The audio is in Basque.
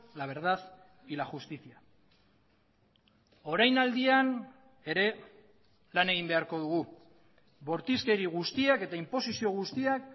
la verdad y la justicia orainaldian ere lan egin beharko dugu bortizkeri guztiak eta inposizio guztiak